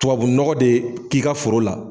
Tubabunɔgɔ de k'i ka foro la,